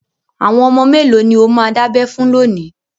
Àwọn ọmọ mélòó ni ó máa dábẹ fún lónìí?